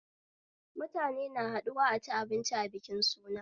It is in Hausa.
Mutane haɗuwa a ci abinci a bikin suna